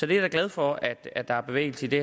da glad for at at der er bevægelse i det